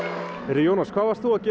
Jónas hvað varst þú að gera